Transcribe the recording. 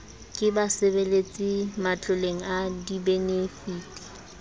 ke basebeletsi matloleng a dibenefiti